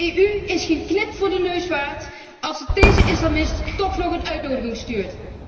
De EU is geen knip voor de neus waard als zij deze islamist toch nog een uitnodiging stuurt!